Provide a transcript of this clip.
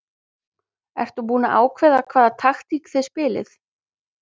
Ertu búinn að ákveða hvaða taktík þið spilið?